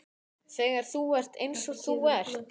Þegar þú ert eins og þú ert.